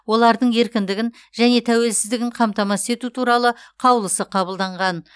олардың еркіндігін және тәуелсіздігін қамтамасыз ету туралы қаулысы қабылданаған